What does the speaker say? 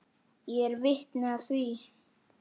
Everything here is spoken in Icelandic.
Ég er vitni að því.